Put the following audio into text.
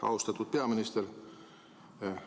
Austatud peaminister!